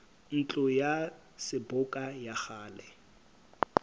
ntlo ya seboka ya kgale